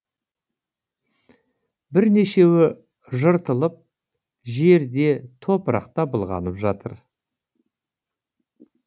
бірнешеуі жыртылып жерде топырақта былғанып жатыр